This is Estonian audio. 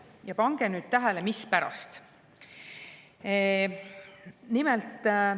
Ja pange tähele, mispärast!